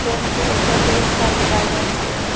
Train के ऊपर ढेर सारे वायरस हैं।